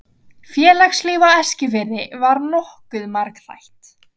Félagslíf á Eskifirði var nokkuð margþætt.